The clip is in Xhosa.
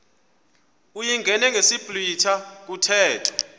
uyingene ngesiblwitha kuthethwa